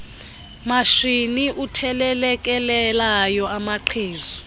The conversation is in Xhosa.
matshini uthelelekelelayo amaqhezu